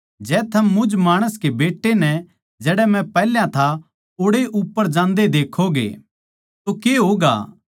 जै थम मुझ माणस कै बेट्टै नै जड़ै मै पैहल्या था ओड़ैए उप्पर जान्दे देक्खोगे तो के होगा